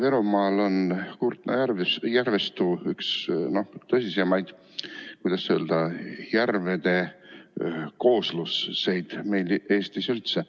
Ida-Virumaal asuv Kurtna järvistu on üks tõsisemaid, kuidas öelda, järvede koosluseid Eestis üldse.